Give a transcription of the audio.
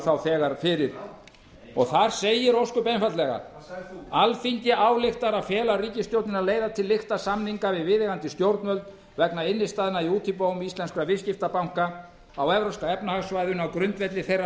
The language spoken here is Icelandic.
þá þegar fyrir og þar segir ósköp einfaldlega alþingi ályktar að fela ríkisstjórninni að leiða til lykta samninga við viðeigandi stjórnvöld vegna innstæðna í útibúum íslenskra viðskiptabanka á evrópska efnahagssvæðinu á grundvelli þeirra